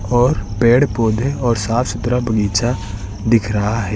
और पेड़ पौधे और साफ-सुथरा बगीचा दिख रहा है।